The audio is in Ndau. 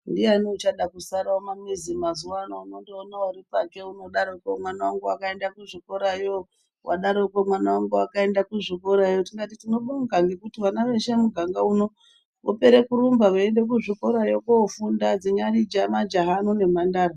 Ndiyani uchada kusara mumamizi mazuva ano unondoona ari panje unodaroko mwana vangu vakaenda kuzvikorayo. Vadaro mwana vangu vakaenda kuzvikorayo tikati tinobonga ngekuti vana veshe muganga uno, vopere kurumba veiende kuzvikorayo kofunda dzinyari majaha ano nemhandara.